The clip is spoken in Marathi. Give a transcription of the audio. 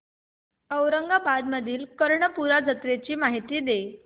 औरंगाबाद मधील कर्णपूरा जत्रेची मला माहिती दे